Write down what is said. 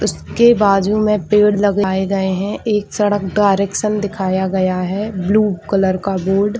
उसके बाजू में पेड़ लगाए गए हैं एक सड़क डायरेक्शन दिखाया गया है ब्लू कलर का बोर्ड --